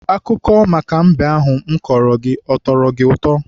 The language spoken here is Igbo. Akụkọ maka mbe ahụ m kọọrọ gị, ọ tọrọ gị ụtọ?